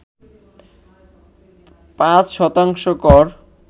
৫ শতাংশ কর